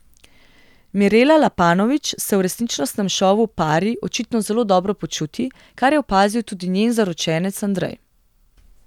Mirela Lapanović se v resničnostnem šovu Pari očitno zelo dobro počuti, kar je opazil tudi njen zaročenec Andrej.